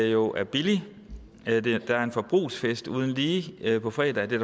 jo er billigt der er en forbrugsfest uden lige på fredag og det